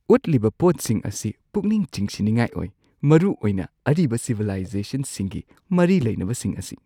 ꯎꯠꯂꯤꯕ ꯄꯣꯠꯁꯤꯡ ꯑꯁꯤ ꯄꯨꯛꯅꯤꯡ ꯆꯤꯡꯁꯤꯟꯅꯤꯡꯉꯥꯏ ꯑꯣꯏ, ꯃꯔꯨꯑꯣꯏꯅ ꯑꯔꯤꯕ ꯁꯤꯕꯤꯂꯥꯏꯖꯦꯁꯟꯁꯤꯡ ꯃꯔꯤ ꯂꯩꯅꯕꯁꯤꯡ ꯑꯁꯤ꯫